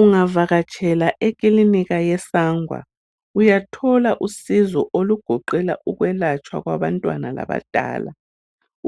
Ungavakatshela ikilinika ye SANGWA uyathola usizo olugoqela ukwelatshwa kwabantwana labadala,